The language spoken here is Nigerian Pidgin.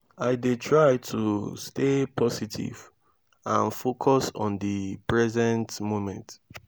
i dey try to stay positive and focus on di present moment.